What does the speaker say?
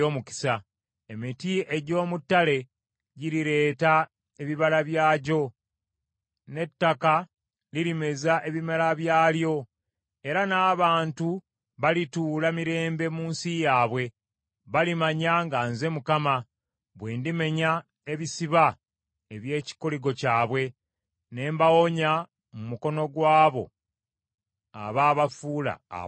Emiti egy’omu ttale girireeta ebibala byagyo, n’ettaka lirimeza ebimera byalyo, era n’abantu balituula mirembe mu nsi yaabwe. Balimanya nga nze Mukama bwe ndimenya ebisiba eby’ekikoligo kyabwe ne mbawonya mu mukono gwabwo abaabafuula abaddu.